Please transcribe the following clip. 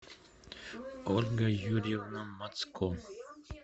ольга юрьевна мацко